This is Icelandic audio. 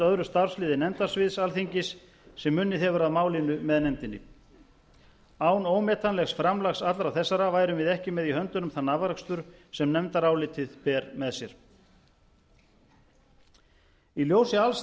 öðru starfsliði nefndasvið alþingis sem unnið hefur að málinu með nefndinni án ómetanlegs framlags allra þessara værum við ekki með í höndunum þann afrakstur sem nefndarálitið ber með sér í ljósi alls